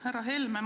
Härra Helme!